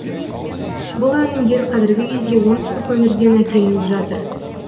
бұл өнімдер қазіргі кезде оңтүстік өңірден әкелініп жатыр